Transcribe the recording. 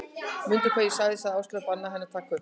Mundu hvað ég sagði sagði Áslaug, bannaðu henni að taka upp